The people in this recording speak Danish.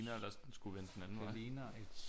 Ligner vel også den skulle vende den anden vej